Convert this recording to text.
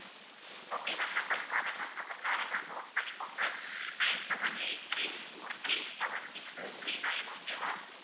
okay ma'am number தர்றேன் ma'am number தர்றேன் ma'am note பண்ணிக்கோங்க nine seven eight three four three seven six three nine okay வா?